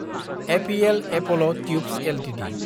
APL Apollo tubes Ltd